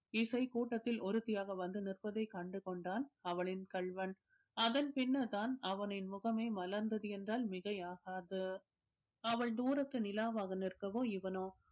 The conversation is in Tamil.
இசை கூட்டத்தில் ஒருத்தியாக வந்து நிற்பதை கண்டு கொண்டான் அவளின் கள்வன் அதன் பின்னர் தான் அவனின் முகமே மலர்ந்தது என்றால் மிகை ஆகாது அவள் தூரத்து நிலவாக நிற்கவோ இவனோ